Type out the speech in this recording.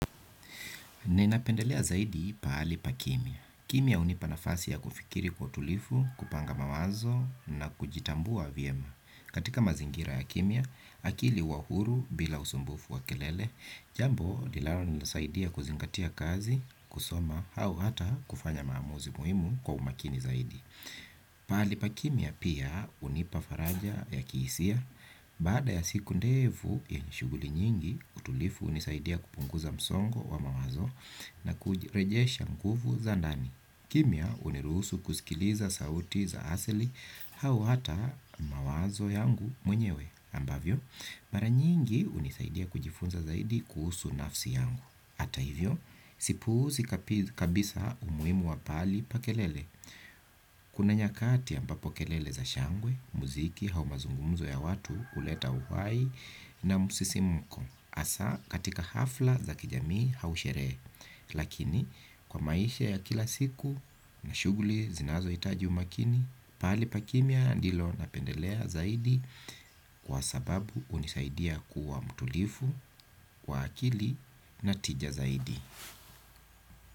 Ninapendelea zaidi pahali pa kimya. Kimya hunipa nafasi ya kufikiri kwa utulivu, kupanga mawazo na kujitambua vyema. Katika mazingira ya kimya, akili huwa huru bila usumbufu wa kelele, jambo linalo nisaidia kuzingatia kazi, kusoma, hau hata kufanya maamuzi muhimu kwa umakini zaidi. Pahali pa kimya pia hunipa faraja ya kihisia. Baada ya siku ndefu yenye shuguli nyingi utulivu hunisaidia kupunguza msongo wa mawazo na kujirejesha nguvu za ndani. Kimya hunirusu kusikiliza sauti za asili au hata mawazo yangu mwenyewe ambavyo, mara nyingi hunisaidia kujifunza zaidi kuhusu nafsi yangu. Hata hivyo, sipuuzi kabisa umuhimu wa pahali pa kelele. Kuna nyakati ambapo kelele za shangwe, muziki au mazungumuzo ya watu huleta uhai na musisimuko hasa katika hafla za kijamii hau sherehe. Lakini kwa maisha ya kila siku na shughuli zinazohitaji umaakini pahali pa kimya ndilo napendelea zaidi kwa sababu hunisaidia kuwa mtulivu, kwa akili na tija zaidi.